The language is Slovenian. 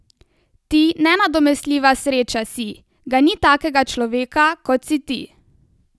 Ti nenadomestljiva sreča si, ga ni takega človeka, kot si ti!